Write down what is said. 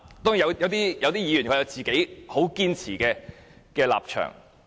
當然，也有一些議員堅持自己的立場。